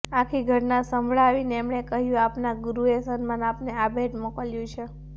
આખી ઘટના સંભળાવીને એમણે કહ્યું આપના ગુરુએ સન્માનમાં આપને આ ભેટ મોકલ્યું છે